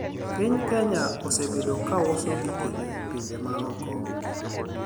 piny Kenya osebedo kauso gike ne pinje maoko